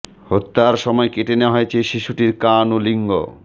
হত্যার সময় কেটে নেওয়া হয়েছে শিশুটির কান ও লিঙ্গ